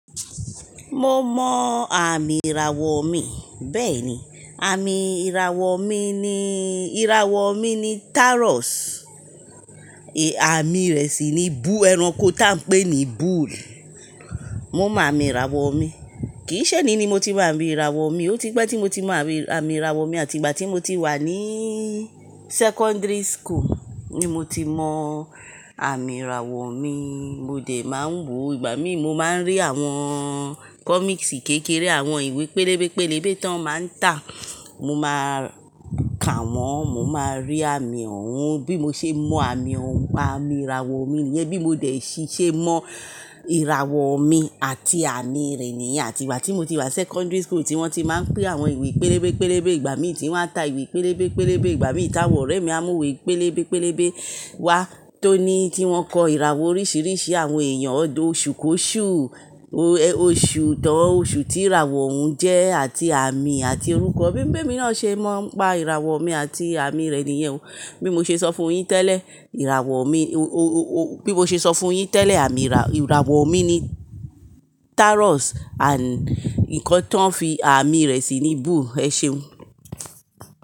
Mo mọ àmì ìràwọ̀ mi. Bẹ́ẹ̀ni, àmì ìràwọ̀ mi ni, ìràwọ̀ mi ni Taurus, àmì rẹ̀ sì ni bull, ẹranko tá ń pè ní bull. Mo mọ àmì ìràwọ̀ mi. Kì í ṣeni ni mo ti moń ami ìràwọ̀ mi, ó ti pẹ́ tí mo ti mọ àmì ìràwọ̀ mi àti ìgbà tí mo ti wà ní secondary school ni mo ti mọ àmì ìràwọ̀ mi. Mo dẹ̀ máa ń wò, ìgbà mí mo máa ń rí àwọn comics kékeré, àwọn ìwé pélébé pélébé tó máa ń tà, mo máa ka wọ́n, mo máa rí àmì òun. Bí mo ṣe mọ àmì òun, pa àmì ìràwọ̀ mi nìyẹn. Bí mo dẹ̀ ṣe mọ ìràwọ̀ mi àti àmì rẹ̀ nìyẹn. Àti ìgbà tí mo ti wà secondary school tí wọ́n ti máa ń pín àwọn ìwé pélébé pélébé, ìgbà mí tí wọ́n ń ta ìwé pélébé pélébé, ìgbà mí ìta òrẹ́ mi a mú ìwé pélébé pélébé wá tó ní kí wọ́n kọ ìràwọ̀ oríṣiríṣi àwọn èèyàn, ọdọ, oṣù kó oṣù, oṣù tán oṣù tí ìràwọ̀ òun jẹ́ àti àmì àti orúkọ. Bí ń bí emi náà ṣe mọ̀ pa ìràwọ̀ mi àti àmì rẹ̀ nìyẹn o. Bí mo ṣe sọ fún un yín tẹ́lẹ̀, ìràwọ̀ mi, bí mo ṣe sọ fún un yín tẹ́lẹ̀, àmì ìràwọ̀ mi ni Taurus and nǹkan tó ń fi àmì rẹ̀ sí ni bull. Ẹ ṣeun.